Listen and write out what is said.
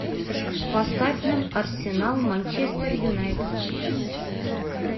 поставь нам арсенал манчестер юнайтед